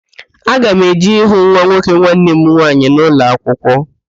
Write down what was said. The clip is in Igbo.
Aga m eje ịhụ nwa nwoke nwanne m nwaanyị na ụlọakwụkwọ